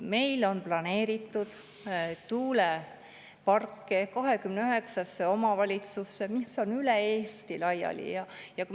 Meil on planeeritud tuuleparke 29 omavalitsusse, mis on üle Eesti laiali.